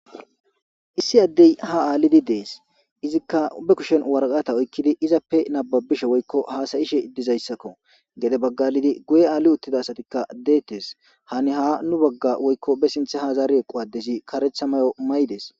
Issi addey ha aalidi dees izikka be kushen waraqata oykkidi izappe nababishe woykko haasayishe iddizayssakko gede baggalidi guye aali uttida asatikka deettes hani ha nu bagga woykko be sinthe ha zaari equ adesi karetha mayo may dees